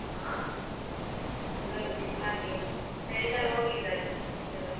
ಹ ಅದೆ ಆಗ್ಲಿಲ್ಲ ಚಳಿಗಾಲ ಹೋಗ್ಲಿಲ್ಲಲ್ಲಾ ಇನ್ನುಸ.